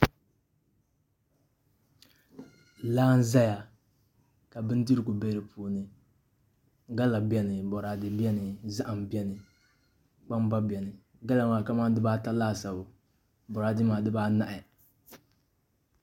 Laa n ʒɛya ka bindirigu bɛ di puuni gala bɛni boraadɛ bɛni zaham bɛni kpam gba bɛni gala maa kamani dibata laasabu boraadɛ maa dibaanahi